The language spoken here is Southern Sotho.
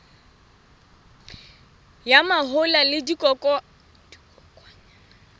ya mahola le dikokwanyana ka